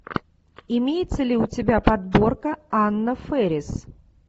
имеется ли у тебя подборка анна фэрис